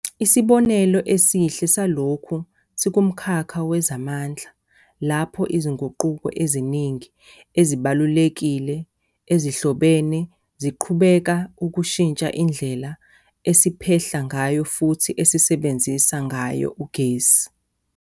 Isibonelo esihle salokhu sikumkhakha wezamandla, lapho izinguquko eziningi ezibalulekile, ezihlobene ziqhubeka ukushintsha indlela esiphehla ngayo futhi esisebenzisa ngayo ugesi.